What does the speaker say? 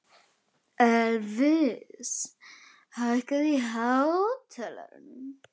Elvis, hækkaðu í hátalaranum.